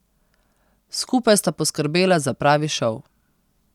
Skupaj sta poskrbela za pravi šov.